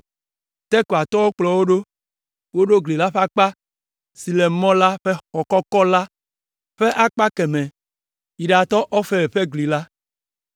Tekoatɔwo kplɔ wo ɖo. Woɖo gli la ƒe akpa si le Mɔ la ƒe Xɔ kɔkɔ la ƒe akpa kemɛ yi ɖatɔ Ofel ƒe gli la.